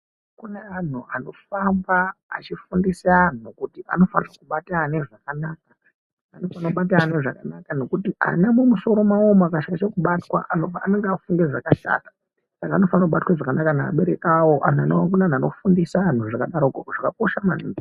Kune anhu anofamba eifundisa anhu kutisnofanira kubata ana zvakanaka ngekuti ana mumusoro mawo umwu akashaishe kubatwa anenge akufunge zvakashata. Saka anofana kubatwa zvakanaka ngeabereki awo .Kuneanhu anofundisa anhu zvakadaroko zvakakosha maningi.